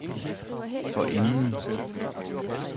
forinden